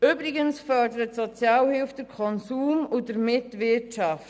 Übrigens fördert die Sozialhilfe den Konsum und damit die Wirtschaft.